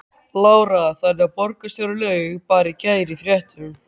Lára: Þannig að borgarstjóri laug bara í gær í fréttum?